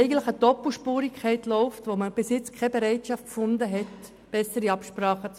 Eigentlich besteht eine Doppelspurigkeit, und bisher wurde keine Bereitschaft für bessere Absprachen gezeigt.